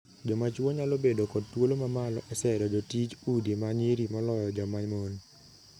Jomachwo nyalo bedo kod thuolo ma malo e sero jotij udi ma nyiri moloyo joma mon.